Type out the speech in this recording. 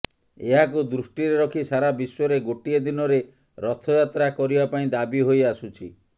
ଏହାକୁ ଦୃଷ୍ଟିରେ ରଖି ସାରା ବିଶ୍ବରେ ଗୋଟିଏ ଦିନରେ ରଥଯାତ୍ରା କରିବା ପାଇଁ ଦାବି ହୋଇ ଆସୁଛି